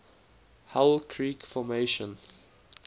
hell creek formation